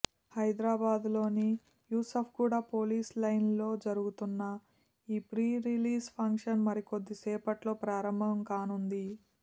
హైద్రాబాద్లోని Yousufguda police లైన్స్లో జరుగుతోన్న ఈ ప్రీ రిలీజ్ ఫంక్షన్ మరికొద్దిసేపట్లో ప్రారంభం కానుంది